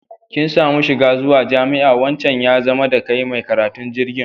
Kin samu shiga zuwa jami'a, wancan ya zama da kai mai karatun digiri.